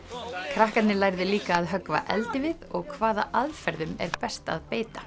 krakkarnir lærðu líka að höggva eldivið og hvaða aðferðum er best að beita